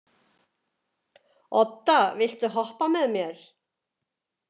Odda, viltu hoppa með mér?